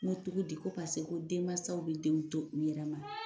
N ko cogodi ko paseke denmansaw bɛ denw to u yɛrɛ ma.